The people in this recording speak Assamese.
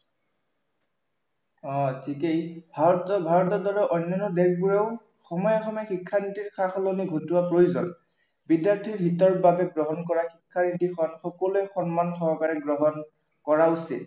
অ ঠিকেই, ভাৰতৰ দৰে অন্য়ান্য় দেশবোৰেও সময়ে সময়ে শিক্ষানীতিৰ সা-সলনি ঘটোৱা প্ৰয়োজন। বিদ্য়াৰ্থিৰ হিতৰ বাবে গ্ৰহণ কৰা শিক্ষানীতি সকলোৱে সন্মান সহকাৰে গ্ৰহণ কৰা উচিত